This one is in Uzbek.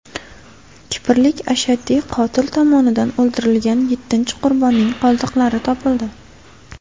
Kiprlik ashaddiy qotil tomonidan o‘ldirilgan yettinchi qurbonning qoldiqlari topildi.